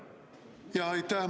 Aitäh!